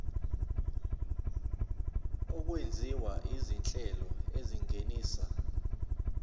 okwenziwa izinhlelo ezingenisa